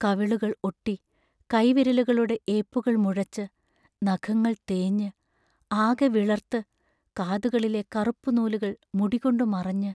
കവിളുകൾ ഒട്ടി കൈവിരലുകളുടെ ഏപ്പുകൾ മുഴച്ച്, നഖങ്ങൾ തേഞ്ഞ്, ആകെ വിളർത്ത്, കാതുകളിലെ കറുപ്പു നൂലുകൾ മുടികൊണ്ടു മറഞ്ഞ്...